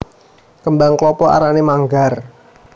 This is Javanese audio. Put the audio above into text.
Kembang klapa arané manggar